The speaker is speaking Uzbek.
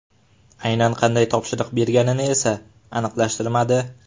Aynan qanday topshiriq berganini esa aniqlashtirmadi.